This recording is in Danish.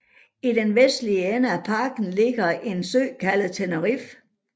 I den vestlige ende af parken ligger en sø kaldet Tenerife